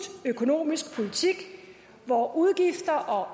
økonomisk politik hvor udgifter og